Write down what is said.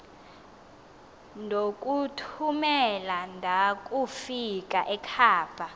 ndokuthumela ndakufika ekhava